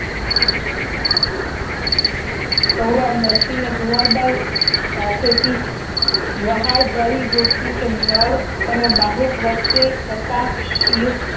નરસિંહ ને કુંવરબાઈ સાથે થી વહાલભરી ગોઠની કે નળ અને બાહુક વચ્ચે કટાક્ષ યુક્ત